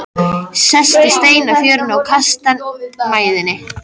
Sest á stein í fjörunni og kastar mæðinni.